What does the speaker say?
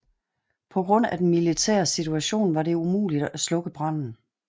På grund af den militære situation var det umuligt at slukke branden